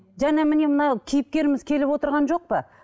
және міне мына кейіпкеріміз келіп отырған жоқ па